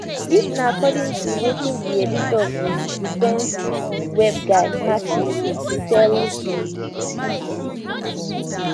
dis na according to wetin di editor of di defence web guy martin tell di bbc